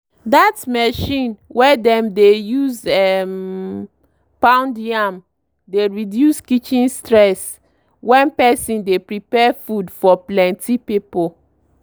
that mechine wey dem dey use um pound yam dey reduce kitchen stress when person dey prepare food for plenty people.